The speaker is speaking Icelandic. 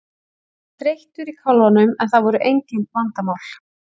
Hann var þreyttur í kálfanum en það voru engin vandamál.